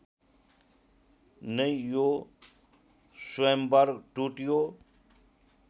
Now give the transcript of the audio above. नै यो स्वयम्वर टुट्यो